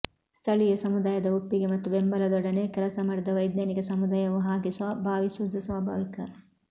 ಸ್ಥಳೀಯ ಸಮುದಾಯದ ಒಪ್ಪಿಗೆ ಮತ್ತು ಬೆಂಬಲದೊಡನೆ ಕೆಲಸಮಾಡಿದ ವೈಜ್ಞಾನಿಕ ಸಮುದಾಯವು ಹಾಗೆ ಭಾವಿಸುವುದು ಸ್ವಾಭಾವಿಕ